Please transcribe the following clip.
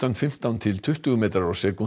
fimmtán til tuttugu metrar á sekúndu